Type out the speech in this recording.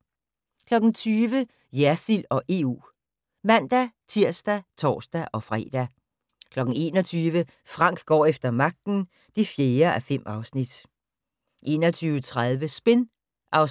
20:00: Jersild og EU (man-tir og tor-fre) 21:00: Frank går efter magten (4:5) 21:30: Spin (2:6)